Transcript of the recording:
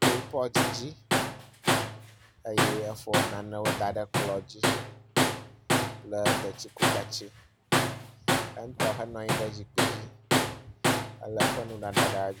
Ke wo dometɔ ɖeka aɖe le tsitre tɔ ɖe megbe.